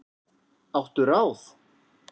Áttu ráð?